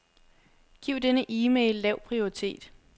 Giv denne e-mail lav prioritet.